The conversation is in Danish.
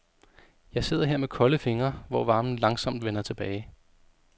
Jeg sidder her med kolde fingre, hvor varmen langsomt vender tilbage.